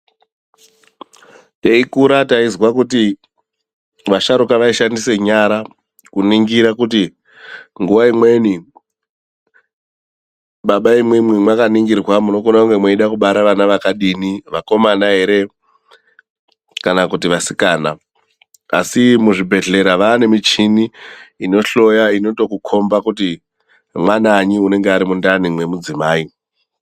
Teikura taizwa kuti vasharukwa vaishandisa nyara kuningira kuti nguva imweni baba imwimwi mwakaningirwa munokone kunge mweida kubara vana vakadini, vakomana ere kana kuti vasikana. Asi muzvibhedhlera vaanemichini inohloya, inotokukomba kuti mwananyi unenga ari mundani mwemudzimai.